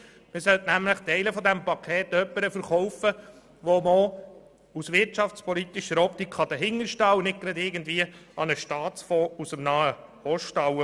Man sollte nämlich Teile dieses Pakets jemandem verkaufen, hinter dem man auch aus wirtschaftspolitischer Optik stehen kann und nicht gerade irgendeinem Staatsfonds aus dem Nahen Osten.